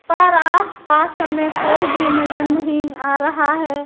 पर आस पास में कोई भी नजर नहीं आ रहा है।